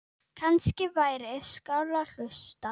Kannski væri skárra að hlusta